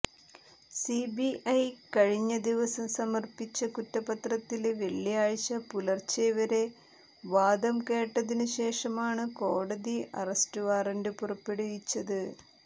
CBI കഴിഞ്ഞ ദിവസം സമര്പ്പിച്ച കുറ്റപത്രത്തില് വെള്ളിയാഴ്ച പുലര്ച്ചെ വരെ വാദം കേട്ടതിനു ശേഷമാണ് കോടതി അറസ്റ്റ് വാറന്റ് പുറപ്പെടുവിച്ചത്